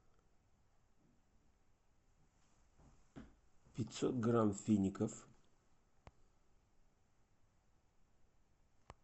пятьсот грамм фиников